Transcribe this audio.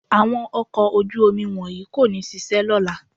Àwọn ọkọ̀ ojú-omi wọ̀nyí kò ní ṣiṣẹ́ lọ́la